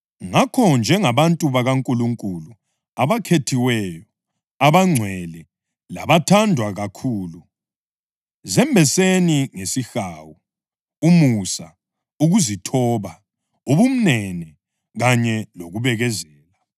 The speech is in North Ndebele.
Ngakho, njengabantu bakaNkulunkulu abakhethiweyo, abangcwele labathandwa kakhulu, zembeseni ngesihawu, umusa, ukuzithoba, ubumnene kanye lokubekezela.